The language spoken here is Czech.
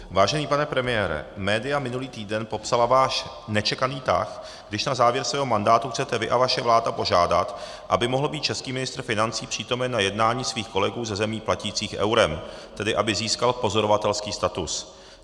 Vážený pane premiére, média minulý týden popsala váš nečekaný tah, když na závěr svého mandátu chcete vy a vaše vláda požádat, aby mohl být český ministr financí přítomen na jednání svých kolegů ze zemí platících eurem, tedy aby získal pozorovatelský status.